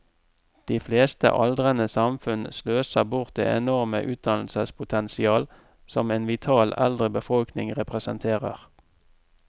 De fleste aldrende samfunn sløser bort det enorme utdannelsespotensial som en vital eldre befolkning representerer.